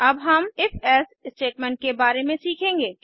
अब हम if else statement के बारे में सीखेंगे